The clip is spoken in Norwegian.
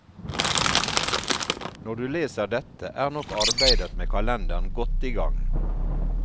Når du leser dette, er nok arbeidet med kalenderen godt i gang.